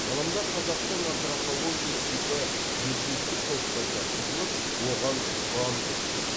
ғылымда қазақтың антропология типі метистік топқа жатқызылып оған тұрандық түр